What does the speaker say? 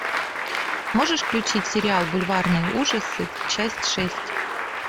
можешь включить сериал бульварные ужасы часть шесть